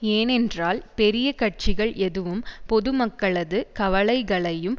ஏனென்றால் பெரிய கட்சிகள் எதுவும் பொதுமக்களது கவலைகளையும்